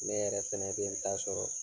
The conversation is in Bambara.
Ne yɛrɛ fana bɛ n ta sɔrɔ.